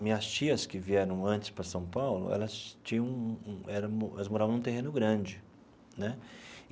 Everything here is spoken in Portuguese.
Minhas tias que vieram antes para São Paulo, elas tinham um um era um elas moravam em um terreno grande né.